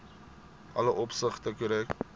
alle opsigte korrek